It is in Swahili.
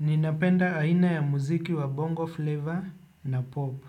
Ninapenda aina ya muziki wa bongo fleva na pop.